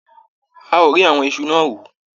A ò rí àwọn iṣu náà hù.